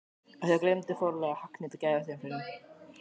En þá gleymdi forlagið að hagnýta gæðastimpilinn!